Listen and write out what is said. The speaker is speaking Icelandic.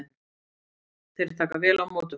Þeir taka vel á móti okkur